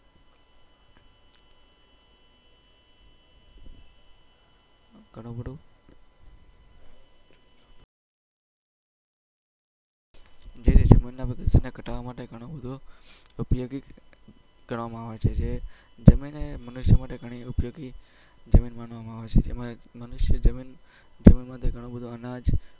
જેથી જમીન ના પ્રદુસન ગતાડવા માટે ગણું બધું ઉપયોગી ગણવામાં આવે છે જમીન e મનુષ્ય માટે ગણી બધી